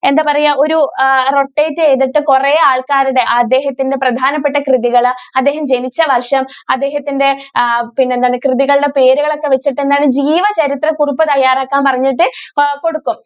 എന്താ പറയാ ഒരു rotate ചെയ്തിട്ട് കുറേ ആളുകളുടെ അദ്ദേഹത്തിന്റെ പ്രധാനപ്പെട്ട കൃതികൾ അദ്ദേഹം ജനിച്ച വർഷം അദ്ദേഹത്തിന്റെ എന്താണ് കൃതികളുടെ പേരുകൾ ഒക്കെ വെച്ചിട്ട് എന്താണ് ജീവ ചരിത്ര കുറിപ്പ് തയ്യാറാകാൻ പറഞ്ഞിട്ട് കൊടുക്കും.